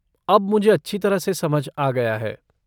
अब मुझे अच्छी तरह से समझ आ गया है।